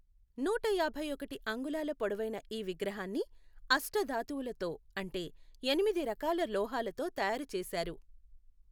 నూట యాభై ఒకటి అంగుళాల పొడవైన ఈ విగ్రహాన్ని అష్ఠధాతువులతో అంటే ఎనిమిది రకాల లోహాలతో తయారు చేశారు.